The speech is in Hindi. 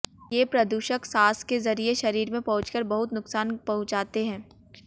ये प्रदूषक सांस के जरिए शरीर में पहुंचकर बहुत नुकसान पहुंचाते हैं